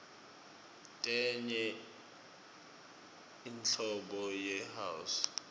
tenye inhlobo yi house